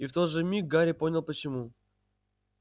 и в тот же миг гарри понял почему